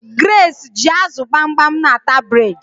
Grace ji azu gbamgbam n'ata bred